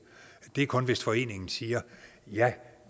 det er kun hvis foreningen siger ja